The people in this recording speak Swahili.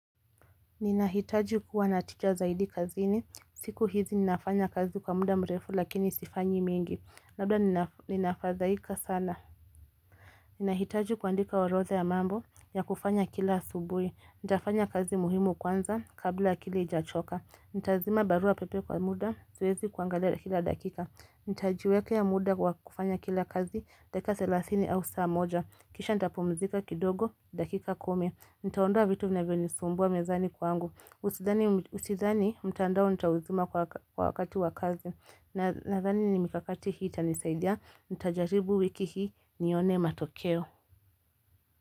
Ninahitaji kua natika zaidi kazini siku hizi ninafanya kazi kwa muda mrefu lakini sifanyi mingi Labda ninafadhaika sana Nina hitaji kuandika orodha ya mambo ya kufanya kila asubuhi. Nitafanya kazi muhimu kwanza kabla akili h, ijachoka Nitazima barua pepe kwa muda siwezi kuangalia kila dakika Nitajiekea muda kwa kufanya kila kazi dakika thelathini au saa moja Kisha nitapumzika kidogo dakika kumi, Nitaondoa vitu vinavyonisumbua mezani kwangu Usidhani mtandao nitauzima kwa wakati wa kazi Nadhani ni mikakati hii tanisaidia Nitajaribu wiki hii nione matokeo.